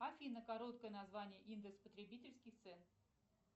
афина короткое название индекс потребительских цен